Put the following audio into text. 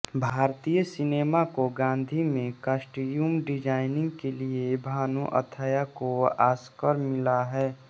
भारतीय सिनेमा को गाँधी में कास्ट्यूम डिजाइनिंग के लिए भानु अथैया को ऑस्कर मिला है